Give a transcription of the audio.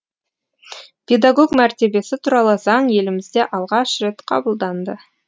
педагог мәртебесі туралы заң елімізде алғаш рет қабылданды